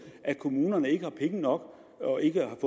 at kommunerne ikke har penge nok og ikke